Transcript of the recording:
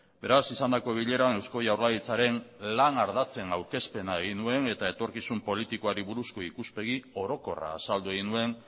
beraz izandako bileran eusko jaurlaritzaren lan ardatzen aurkezpena egin nuen eta etorkizun politikoari buruzko ikuspegi orokorra azaldu egin nuen